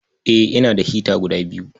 Eh, ina da hita guda biyu.